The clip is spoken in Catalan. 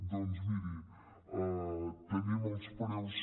doncs miri tenim els preus